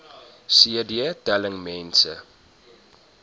cd telling mense